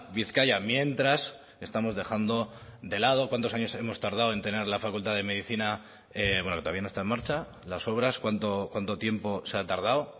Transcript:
bizkaia mientras estamos dejando de lado cuántos años hemos tardado en tener la facultad de medicina bueno que todavía no está en marcha las obras cuánto tiempo se ha tardado